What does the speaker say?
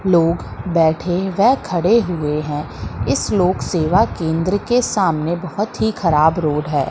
लोग बैठे व खड़े हुए हैं इस लोक सेवा केंद्र के सामने बहोत ही खराब रोड है।